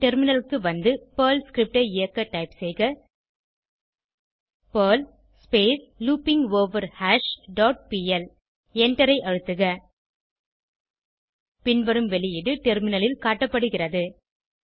பின் டெர்மினலுக்கு வந்து Perl script ஐ இயக்க டைப் செய்க பெர்ல் லூப்பிங்கோவர்ஹாஷ் டாட் பிஎல் எண்டரை அழுத்துக பின்வரும் வெளியீடு டெர்மினலில் காட்டப்படுகிறது